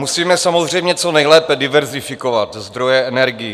Musíme samozřejmě co nejlépe diverzifikovat zdroje energií.